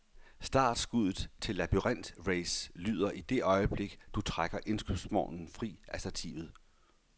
Startsskuddet til labyrintrace lyder i det øjeblik, du trækker indkøbsvognen fri af stativet.